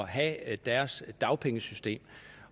have deres dagpengesystem